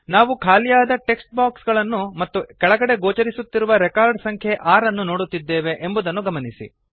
ನಾವು ಖಾಲಿಯಾದ text box ಗಳನ್ನು ಮತ್ತು ಕೆಳಗಡೆ ಗೋಚರಿಸುತ್ತಿರುವ ರೆಕಾರ್ಡ್ ಸಂಖ್ಯೆ 6 ಅನ್ನು ನೋಡುತ್ತಿದ್ದೇವೆ ಎಂಬುದನ್ನು ಗಮನಿಸಿ